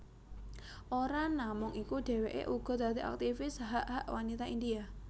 Ora namung iku dheweké uga dadi aktifis hak hak wanita India